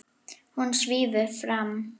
Hún svífur fram.